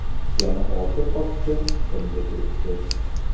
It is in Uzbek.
Yana olti qopcha chiqindi turibdi.